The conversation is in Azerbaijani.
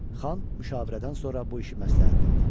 Xan müşavirədən sonra bu işi məsləhət bildi.